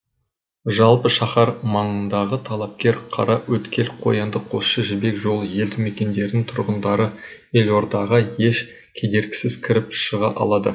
жалпы шаһар маңындағы талапкер қараөткел қоянды қосшы жібек жолы елді мекендерінің тұрғындары елордаға еш кедергісіз кіріп шыға алады